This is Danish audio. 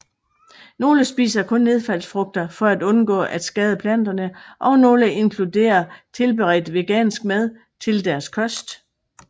Nogle spiser kun nedfaldsfrugter for at undgå at skade planterne og nogle inkluderer tilberedt vegansk mad til deres kost